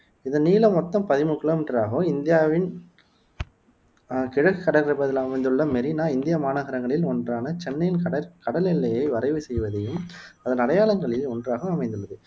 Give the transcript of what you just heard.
இதன் நீளம் மொத்தம் பதிமூனு கிலோமீட்டர் ஆகும் இந்தியாவன் அஹ் கிழக்குக் கடற்பகுதியில் அமைந்துள்ள மெரீனா இந்திய மாநகரங்களில் ஒன்றான சென்னையின் கடர் கடல் எல்லையை வரைவு செய்வதையும் அதன் அடையாளங்களில் ஒன்றாகவும் அமைந்துள்ளது